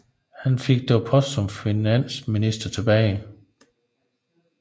Han fik dog posten som finansminister tilbage